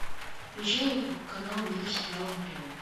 включай канал мир сериала на тв